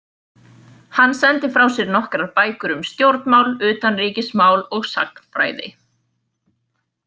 Hann sendi frá sér nokkrar bækur um stjórnmál, utanríkismál og sagnfræði.